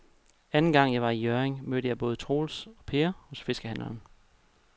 Anden gang jeg var i Hjørring, mødte jeg både Troels og Per hos fiskehandlerne.